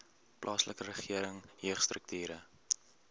plaaslike regering jeugstrukture